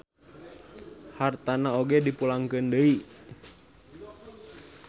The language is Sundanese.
Hartana oge dipulangkeun deui.